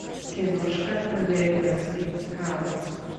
киношка американский хаос